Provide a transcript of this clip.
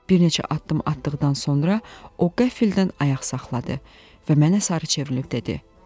Bir neçə addım atdıqdan sonra o qəfildən ayaq saxladı və mənə sarı çevrilib dedi: